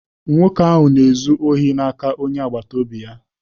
Nwoke ahụ na-ezu ohi n'aka onye agbata obi ya.